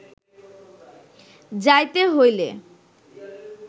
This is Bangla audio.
যাইতে হইলে